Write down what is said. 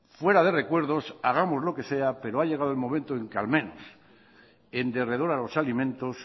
fuera de recuerdos hagamos lo que sea pero ha llegado el momento en que al menos en derredor a los alimentos